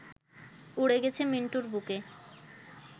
উড়ে গেছে মিন্টুর বুকে